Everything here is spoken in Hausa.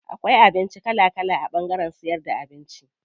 Akwai abinci kala kala a ɓangaren siyar da abinci.